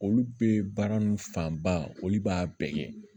Olu bɛ baara ninnu fanba olu b'a bɛɛ kɛ